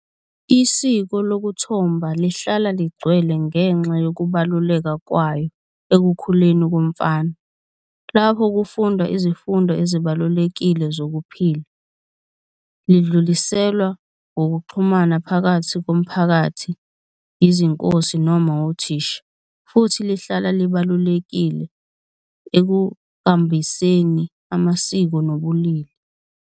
Isiko lokuthomba lihlala ligcwele ngenxa yokubaluleka kwayo ekukhuleni komfana, lapho kufundwa izifundo ezibalulekile zokuphila, lidluliselwa ngokuxhumana phakathi komphakathi, izinkosi noma othisha. Futhi lihlala libalulekile ekuqambiseni amasiko nobulili.